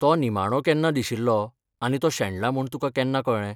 तो निमाणो केन्ना दिशिल्लो आनी तो शेणला म्हूण तुका केन्ना कळ्ळें?